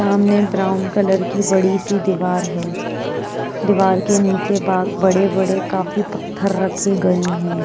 सामने brown colour की बड़ी सी दीवार है। दीवार के नीचे बा बड़े-बड़े काफी पत्थर रखे गए हैं।